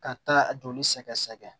Ka taa a joli sɛgɛsɛgɛ